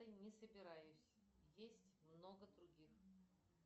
не собираюсь есть много других